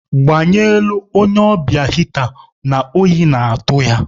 Gbanyelụ onye ọbịa hịta na oyi na-atụ ya.